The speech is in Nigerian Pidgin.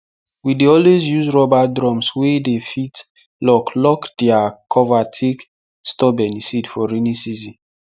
we dey always use rubber drums wey dey fit lock lock their cover take store beniseed for rainy season